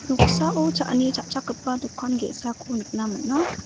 noksao cha·ani cha·chakgipa dokan ge·sako nikna man·a.